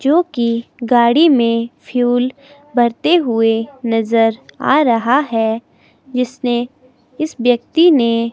जो कि गाड़ी में फ्यूल भरते हुए नजर आ रहा है जिसने इस व्यक्ति ने--